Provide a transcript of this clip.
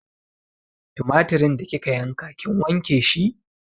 Tumatirin da kika yanka kin wanke shi?